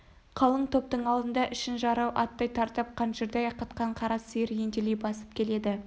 қалың топтың алдында ішін жарау аттай тартып қаншырдай қатқан қара сиыр ентелей басып келеді